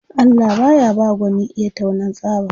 Allah baya ba gwani iya taunan tsaba